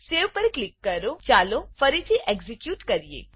સેવ પર ક્લિક કરોચાલો ફરીથી એક્ઝેક્યુટ કરીએ